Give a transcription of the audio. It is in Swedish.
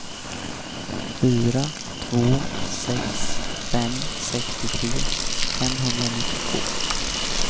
fyra två sex fem sextiotre femhundranittiotvå